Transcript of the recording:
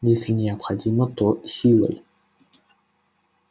если необходимо то силой